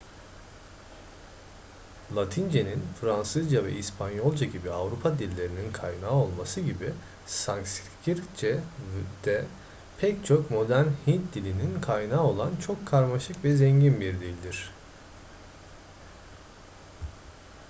latince'nin fransızca ve i̇spanyolca gibi avrupa dillerinin kaynağı olması gibi sanskritçe de pek çok modern hint dilinin kaynağı olan çok karmaşık ve zengin bir dildir